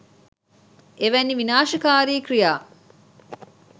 එවැනි විනාශකාරී ක්‍රියා